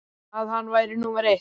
að hann væri númer eitt.